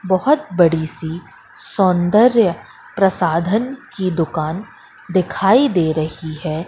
बहोत बड़ी सी सौंदर्य प्रसाधन की दुकान दिखाई दे रही है।